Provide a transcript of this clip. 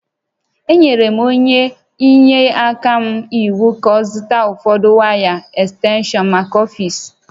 Enyere m onye inyeaka m iwu ka ọ zụta ụfọdụ waya ekstenshọnmaka ọfiisi